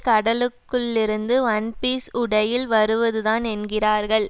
கடலுக்குள்ளிருந்து one piece உடையில் வருவதுதான் என்கிறார்கள்